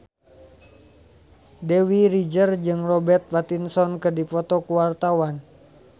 Dewi Rezer jeung Robert Pattinson keur dipoto ku wartawan